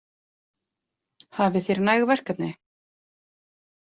Hafið þér næg verkefni?